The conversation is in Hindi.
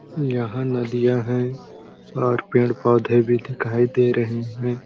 यहाँ नदियाँ है और पेड़- पौधे भी दिखाई दे रहे हैं ।